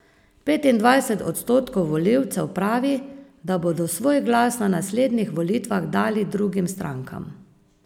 Petindvajset odstotkov volivcev pravi, da bodo svoj glas na naslednjih volitvah dali drugim strankam.